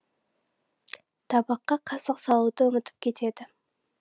табаққа қасық салуды ұмытып кетеді